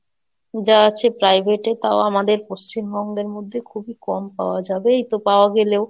যা আছে private এ তাও আমাদের পশ্চিমবঙ্গের মধ্যে খুবই কম পাওয়া যাবে, এইতো পাওয়া গেলেও,